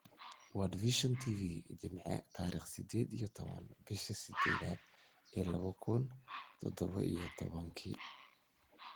World Vision TV Jimce tarikh sidded iyo tobaan bishaa sideedadh lawo kun iyo tadhawo iyo tobaanki